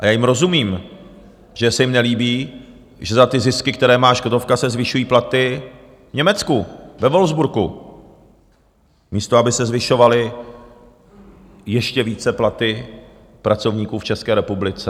A já jim rozumím, že se jim nelíbí, že za ty zisky, které má Škodovka, se zvyšují platy v Německu, ve Wolfsburgu, místo aby se zvyšovaly ještě více platy pracovníků v České republice.